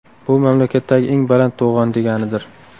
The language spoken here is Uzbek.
Bu mamlakatdagi eng baland to‘g‘on, deganidir.